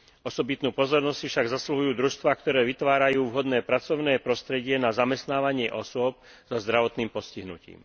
Osobitnú pozornosť si však zasluhujú družstvá, ktoré vytvárajú vhodné pracovné prostredie na zamestnávanie osôb so zdravotným postihnutím.